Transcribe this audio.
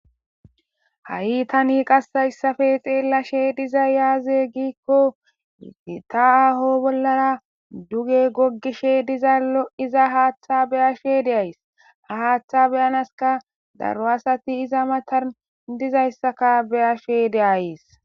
ha7i tani qassayssafe xeellashe diza yaaze giikkota aho bollara duge gogishe dizallo iza haaththa beyashe de7ays ha haaththa beyanaska daro asati iza matan dizayssaka beyashe deays